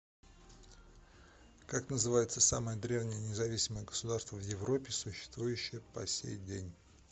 как называется самое древнее независимое государство в европе существующее по сей день